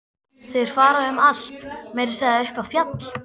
Þeir fara um allt, meira að segja upp í fjall.